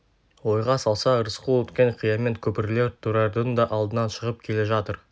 ойға салса рысқұл өткен қиямет көпірлер тұрардың да алдынан шығып келе жатыр